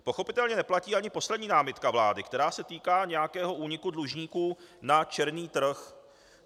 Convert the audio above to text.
Pochopitelně neplatí ani poslední námitka vlády, která se týká nějakého úniku dlužníků na černý trh.